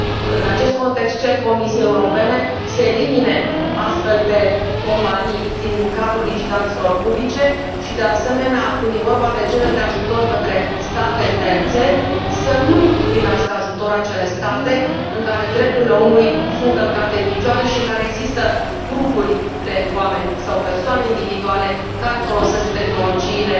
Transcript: În acest context, cer Comisiei Europene să elimine astfel de companii din cadrul licitațiilor publice și, de asemenea, când este vorba de cererile de ajutor către state terțe, să nu primească ajutor acele state în care drepturile omului sunt călcate în picioare și în care există grupuri de oameni sau persoane individuale care folosesc tehnologiile